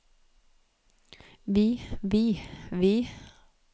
vi vi vi